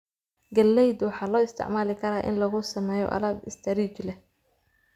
Galaydu waxaa loo isticmaali karaa in lagu sameeyo alaab istaarij leh .